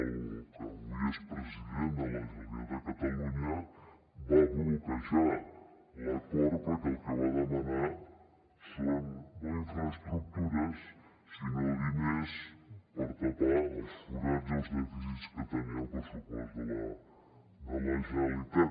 el que avui és president de la generalitat de catalunya va bloquejar l’acord perquè el que va demanar eren no infraestructures sinó diners per tapar els forats i els dèficits que tenia el pressupost de la de la generalitat